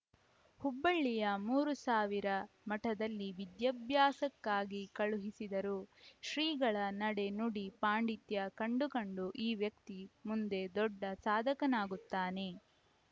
ಹುಬ್ಬಳ್ಳಿಯ ಮೂರುಸಾವಿರ ಮಠದಲ್ಲಿ ವಿದ್ಯಾಭ್ಯಾಸಕ್ಕಾಗಿ ಕಳುಹಿಸಿದರು ಶ್ರೀಗಳ ನಡೆನುಡಿ ಪಾಂಡಿತ್ಯ ಕಂಡು ಕಂಡು ಈ ವ್ಯಕ್ತಿ ಮುಂದೆ ದೊಡ್ಡ ಸಾಧಕನಾಗುತ್ತಾನೆ